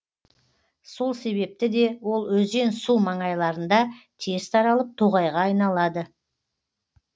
сол себепті де ол өзен су маңайларында тез таралып тоғайға айналады